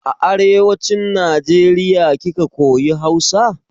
A arewacin Najeriya kika koya Hausa?